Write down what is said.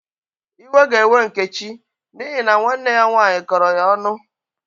Iwe ga-ewe Nkechi n'ihi na nwanne ya nwaanyị kọrọ ya onụ.